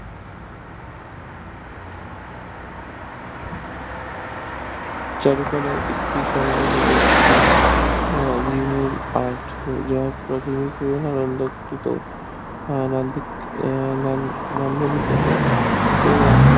চারুকলা ভিত্তি সঙ্গত হলে একটি